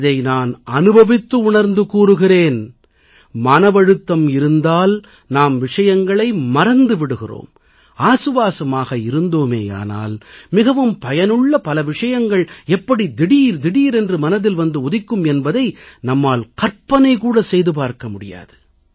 இதை நான் அனுபவித்து உணர்ந்து கூறுகிறேன் மனவழுத்தம் இருந்தால் நாம் விஷயங்களை மறந்து விடுகிறோம் ஆசுவாசமாக இருந்தோமேயானால் மிகவும் பயனுள்ள பல விஷயங்கள் எப்படி திடீர் திடீரென்று மனதில் வந்து உதிக்கும் என்பதை நம்மால் கற்பனை கூட செய்து பார்க்க முடியாது